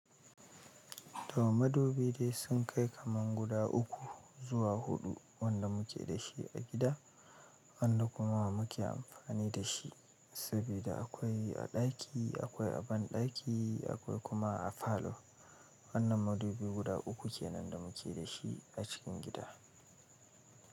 To madubi dai sun kai kaman guda uku zuwa huɗu wanda muke da shi a gida, wanda kuma muke amfani da shi. Saboda akwai a ɗaki, akwai a ban ɗaki, akwai kuma a falo. Wannan madubi guda uku ke nan da muke da shi a cikin gida.